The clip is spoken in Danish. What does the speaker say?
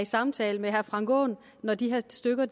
samtale med herre frank aaen når de her aktstykker